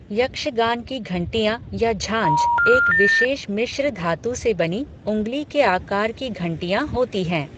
यक्षगान की घंटियां या झांझ एक विशेष मिश्र धातु से बनी उंगली के आकार की घंटियां होती हैं।